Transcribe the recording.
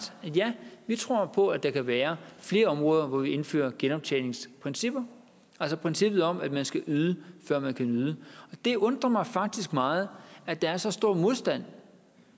at ja vi tror på at der kan være flere områder hvor vi indfører genoptjeningsprincipper altså princippet om at man skal yde før man kan nyde det undrer mig faktisk meget at der er så stor modstand